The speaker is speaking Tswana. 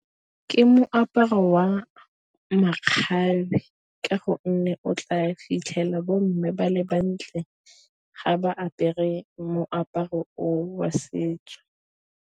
Ke moaparo wa makgabe, ka gonne o tla fitlhela bo mme ba le bantle ga ba apere moaparo o wa setso.